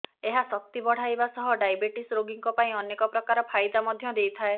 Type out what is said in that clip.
ଏହା ଶକ୍ତି ବଢ଼ାଇବାସହ ଡ଼ାଇବେଟିସ ରୋଗୀଙ୍କ ପାଇଁ ଅନେକ ପ୍ରକାର ଫାଇଦା ମଧ୍ୟ ଦେଇଥାଏ